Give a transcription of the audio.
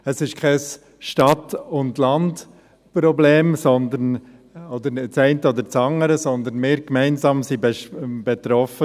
Es ist kein Stadt- und Landproblem, auch nicht das eine oder das andere, sondern wir sind gemeinsam davon betroffen.